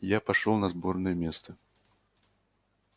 я пошёл на сборное место